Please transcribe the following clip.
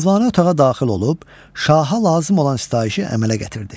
Mövlanə otağa daxil olub şaha lazım olan sitayişi əmələ gətirdi.